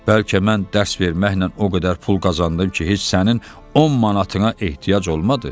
Bəlkə mən dərs verməklə o qədər pul qazandım ki, heç sənin 10 manatına ehtiyac olmadı.